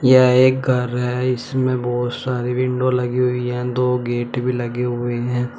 यह एक घर है। इसमें बहुत सारे विंडो लगे हुई हैं। दो गेट भी लगे हुए हैं।